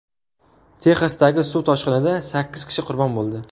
Texasdagi suv toshqinida sakkiz kishi qurbon bo‘ldi.